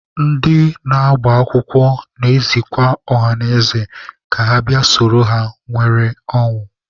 Ndị na-agbakwụkwọ na-ezikwa ọhanaeze ka ha bịa soro ha nwee ọṅụ.